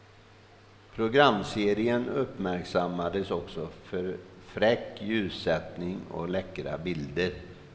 Programserien uppmärksammades också för fräck ljussättning och läckra bilder.